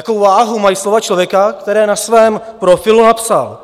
Jakou váhu mají slova člověka, který na svém profilu napsal: